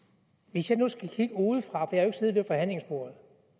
hvis jeg nu skal kigge udefra for